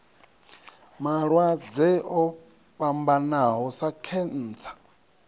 malwadze o fhambanaho sa khentsa